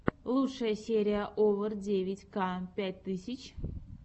лучшая серия овер девять ка пять тысяч